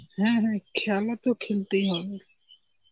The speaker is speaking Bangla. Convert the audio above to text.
হ্যাঁ হ্যাঁ খেলা তো খেলতেই হবে.